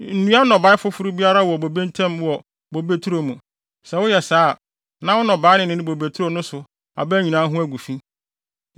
Nnua nnɔbae foforo biara wɔ bobe ntam wɔ wo bobeturo mu. Sɛ woyɛ saa a, na wo nnɔbae no ne bobeturo no so aba nyinaa ho agu fi.